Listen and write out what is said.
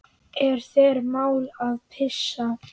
Er þér mál að pissa?